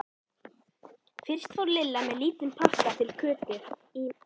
Fyrst fór Lilla með lítinn pakka til Kötu í